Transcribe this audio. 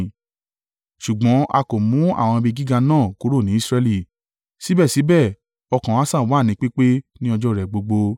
Ṣùgbọ́n a kò mú àwọn ibi gíga náà kúrò ní Israẹli; síbẹ̀síbẹ̀ ọkàn Asa wà ní pípé ní ọjọ́ rẹ̀ gbogbo.